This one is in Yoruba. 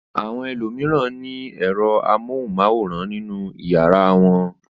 Àwọn ènìyàn mìíràn ní ẹ̀rọ amóhùmáwòhán nínú ìyàrá wọn.